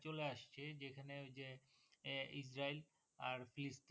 চলে আসছে যেখানে ওই যে আহ ইস্রায়েল আর